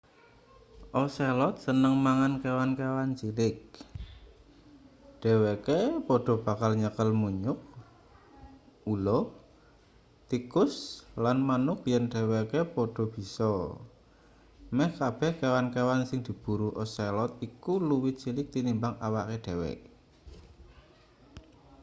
ocelot seneng mangan kewan-kewan cilik dheweke padha bakal nyekel munyuk ula tikus lan manuk yen dheweke padha bisa meh kabeh kewan-kewan sing diburu ocelot iku luwih cilik tinimbang awake dhewe